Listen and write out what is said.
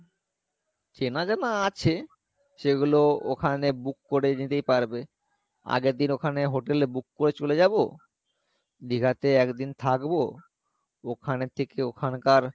চেনা জানা আছে সেগুলো ওখানে book করে নিতেই পারবে আগের দিন ওখানে hotel এ book করে চলে যাবো দীঘা তে একদিন থাকবো ওখানে থেকে ওখানকার,